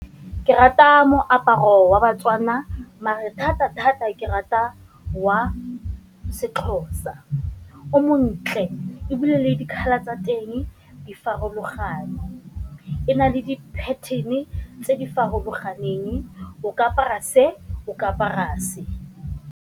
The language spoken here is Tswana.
Ke rata moaparo wa ba-Tswana mare thata thata ke rata wa se-Xhosa o montle, ebile colour tsa teng di farologane, e na le di-pattern-e tse di farologaneng o ka apara se o ka apara se.